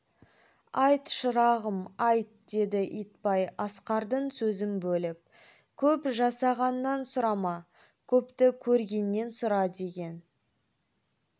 айт шырағым айт деді итбай асқардың сөзін бөліп көп жасағаннан сұрама көпті көргеннен сұра деген